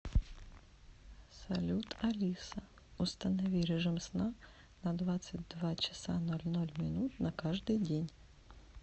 салют алиса установи режим сна на двадцать два часа ноль ноль минут на каждый день